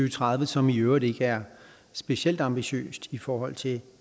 og tredive som i øvrigt ikke er specielt ambitiøst i forhold til